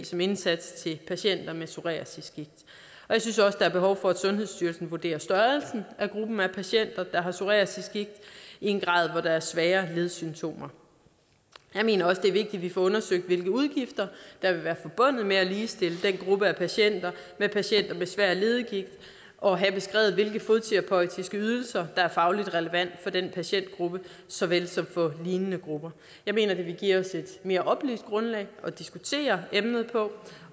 som indsats til patienter med psoriasisgigt og jeg synes også der er behov for at sundhedsstyrelsen vurderer størrelsen af gruppen af patienter der har psoriasisgigt i en grad hvor der er svære ledsymptomer jeg mener også det er vigtigt at vi får undersøgt hvilke udgifter der vil være forbundet med at ligestille den gruppe af patienter med patienter med svær leddegigt og have beskrevet hvilke fodterapeutiske ydelser der er fagligt relevante for den patientgruppe såvel som for lignende grupper jeg mener det vil give os et mere oplyst grundlag at diskutere emnet på